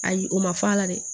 Ayi o ma fɔ a la dɛ